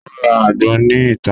Wọn n ra agbon ni ita.